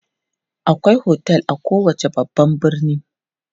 Akwai otel a kowace babban birni.